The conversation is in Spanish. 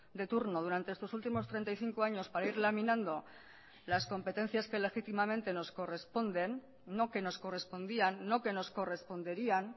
de turno durante estos últimos treinta y cinco años para ir laminando las competencias que legítimamente nos corresponden no que nos correspondían no que nos corresponderían